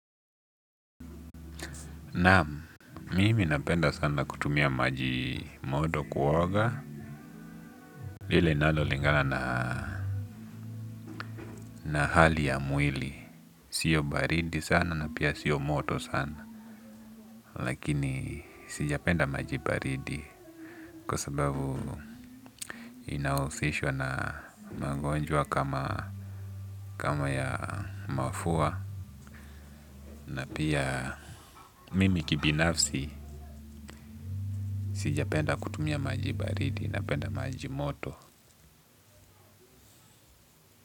Naam, mimi napenda sana kutumua maji moto kuoga, ile inalingana na. Na hali ya mwili, siyo baridi sana na pia siyo moto sana, lakini sijapenda maji baridi kwa sababu. Inahusishwa na magonjwa kama ya mafua. Na pia mimi kibinafsi, sijapenda kutumia maji baridi napenda maji moto.